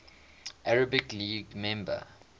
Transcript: arab league member